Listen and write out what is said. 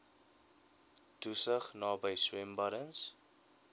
toesig naby swembaddens